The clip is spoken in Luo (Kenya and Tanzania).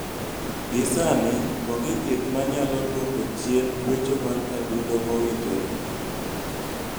Gi sani, onge thieth ma nyalo dwoko chien gwecho mar adundo mowinjore.